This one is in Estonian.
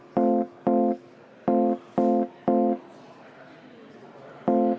Kõik otsused tehti konsensuslikult.